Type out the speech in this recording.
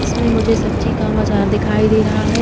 इसमे मुझे सब्जी का बाजार दिखाई दे रहा है।